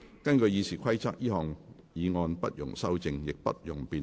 根據《議事規則》，這項議案不容修正，亦不容辯論。